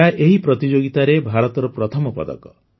ଏହା ଏହି ପ୍ରତିଯୋଗିତାରେ ଭାରତର ପ୍ରଥମ ପଦକ